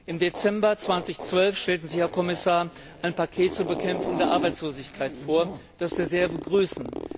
Im Dezember 2012 stellten Sie, Herr Kommissar, ein Paket zur Bekämpfung der Arbeitslosigkeit vor, das wir sehr begrüßen.